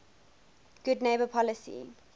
good neighbor policy